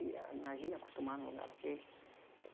E a Imagina acostumar num lugar daquele.